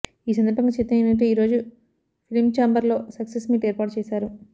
ఈ సందర్భంగా చిత్ర యూనిట్ ఈ రోజు ఫిలించాంబర్ లో సక్సెస్ మీట్ ఏర్పాటు చేశారు